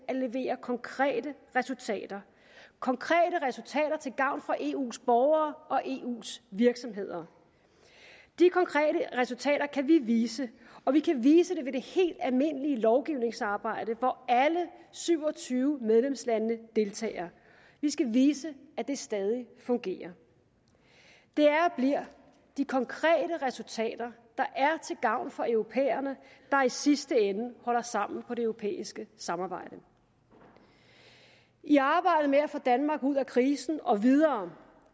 at levere konkrete resultater konkrete resultater til gavn for eus borgere og eus virksomheder de konkrete resultater kan vi vise og vi kan vise det ved det helt almindelige lovgivningsarbejde hvor alle syv og tyve medlemslande deltager vi skal vise at det stadig fungerer det er og bliver de konkrete resultater til gavn for europæerne der i sidste ende holder sammen på det europæiske samarbejde i arbejdet med at få danmark ud af krisen og videre